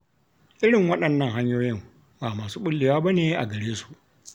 Irin waɗannan hanyoyin ba masu ɓullewa ba ne a gare su.